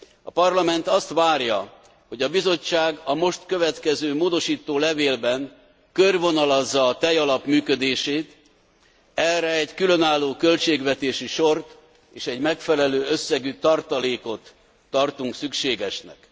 A Parlament azt várja, hogy a Bizottság a most következő módosító levélben körvonalazza a tejalap működését, erre egy különálló költségvetési sort és egy megfelelő összegű tartalékot tartunk szükségesnek.